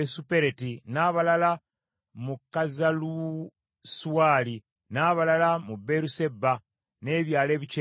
n’abalala mu Kazalusuwali, n’abalala mu Beeruseba n’ebyalo ebikyetoolodde,